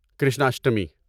Krishnashtami